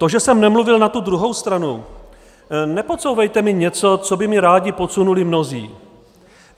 To, že jsem nemluvil na tu druhou stranu - nepodsouvejte mi něco, co by mi rádi podsunuli mnozí.